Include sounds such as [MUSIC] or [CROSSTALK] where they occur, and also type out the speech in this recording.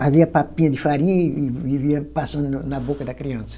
Fazia papinha de farinha e e e [UNINTELLIGIBLE] passando na boca da criança.